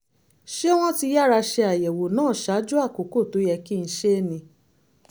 ṣé wọ́n ti yára ṣe àyẹ̀wò náà ṣáájú àkókò tó yẹ kí n ṣe é ni?